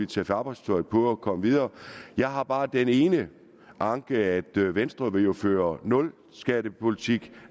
tage arbejdstøjet på og komme videre jeg har bare den ene anke at venstre jo vil føre nulskattepolitik